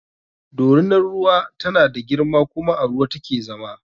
Dorinar ruwa tana da girma kuma a ruwa take zama